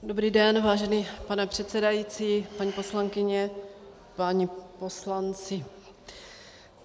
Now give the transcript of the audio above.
Dobrý den, vážený pane předsedající, paní poslankyně, páni poslanci.